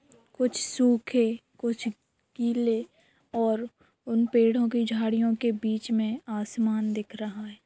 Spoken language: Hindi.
कुछ सूखे कुछ गिल्ले और उन पेड़ों की झाड़ियों के बीच में आसमान दिख रहा है।